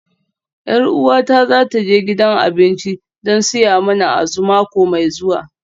Yar uwata za ta je gidan abinci don siya mana Azu mako mai zuwa